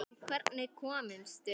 En hvernig komumst við?